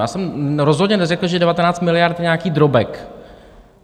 Já jsem rozhodně neřekl, že 19 miliard je nějaký drobek.